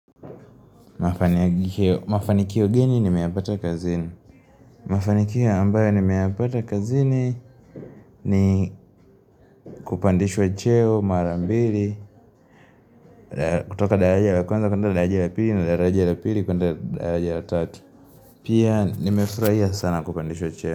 Mafanikio gini nimeapata kazini Mafanikio ambayo nimeapata kazini ni kupandishwa cheo marambili kutoka daajia la kwanza kutoka daajia la pili na daajia la pili kutoka daajia la tati Pia nimefraia sana kupandishwa cheo.